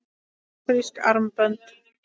Afrísk armbönd?